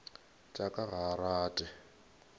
tša ka ga a rate